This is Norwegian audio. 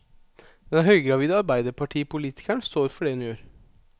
Den høygravide arbeiderpartipolitikeren står for det hun gjør.